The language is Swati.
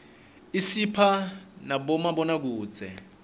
isipha nabomabonakudze